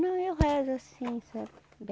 Não, eu rezo assim, sabe?